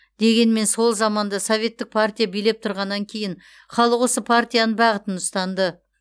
дегенмен сол заманда советтік партия билеп тұрғаннан кейін халық осы партияның бағытын ұстанды